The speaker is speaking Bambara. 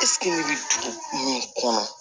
ne bɛ dugu min kɔnɔ